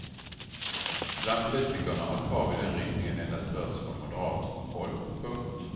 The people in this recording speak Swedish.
Bland politikerna har krav i den riktningen endast hörts från moderat håll. punkt